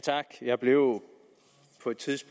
synes